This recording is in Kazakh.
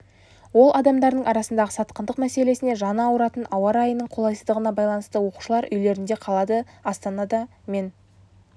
ол адамдардың арасындағы сатқындық мәселесіне жаны ауыратын ауа райының қолайсыздығына байланысты оқушылар үйлерінде қалады астанада мен